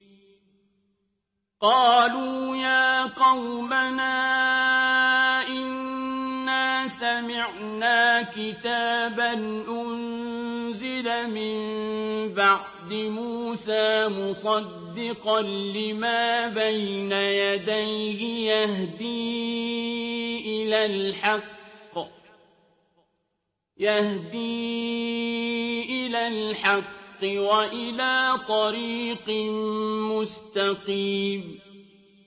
قَالُوا يَا قَوْمَنَا إِنَّا سَمِعْنَا كِتَابًا أُنزِلَ مِن بَعْدِ مُوسَىٰ مُصَدِّقًا لِّمَا بَيْنَ يَدَيْهِ يَهْدِي إِلَى الْحَقِّ وَإِلَىٰ طَرِيقٍ مُّسْتَقِيمٍ